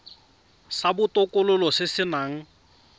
sa botokololo se se nang